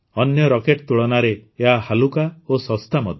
ଅନ୍ୟ ରକେଟ୍ ତୁଳନାରେ ଏହା ହାଲୁକା ଓ ଶସ୍ତା ମଧ୍ୟ